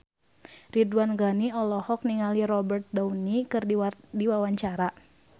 Ridwan Ghani olohok ningali Robert Downey keur diwawancara